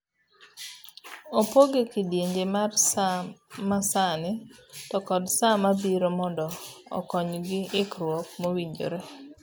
Opoge ekidienje mar saa masani to kod saa mabiro mondo okony gi ikruo mowinjore.